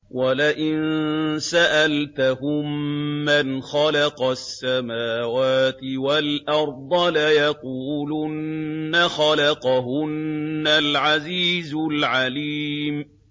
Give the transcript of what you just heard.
وَلَئِن سَأَلْتَهُم مَّنْ خَلَقَ السَّمَاوَاتِ وَالْأَرْضَ لَيَقُولُنَّ خَلَقَهُنَّ الْعَزِيزُ الْعَلِيمُ